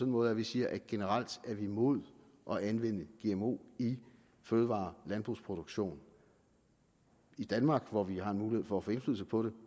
måde at vi siger at generelt er vi imod at anvende gmo i fødevare og landbrugsproduktion i danmark hvor vi har en mulighed for at få indflydelse på det